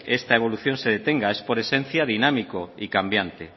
esta evolución se detenga es por esencia dinámico y cambiante